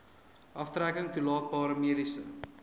aftrekking toelaatbare mediese